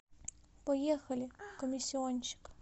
поехали комиссионщик